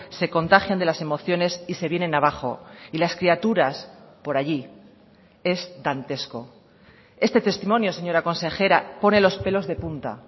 se contagian de las emociones y se vienen abajo y las criaturas por allí es dantesco este testimonio señora consejera pone los pelos de punta